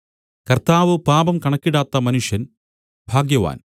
കർത്താവ് പാപം കണക്കിടാത്ത മനുഷ്യൻ ഭാഗ്യവാൻ